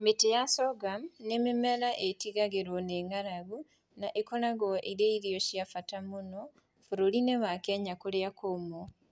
Mĩtĩ ya sorghum nĩ mĩmera ĩtigagĩrũo nĩ ng'aragu na ĩkoragwo ĩrĩ irio cia bata mũno bũrũri-inĩ wa Kenya kũrĩa kũũmũ.